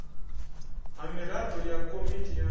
ha miraḓo ya komiti ya